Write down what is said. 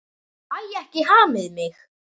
Ég fæ ekki hamið mig.